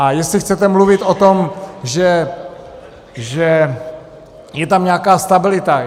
A jestli chcete mluvit o tom, že je tam nějaká stabilita.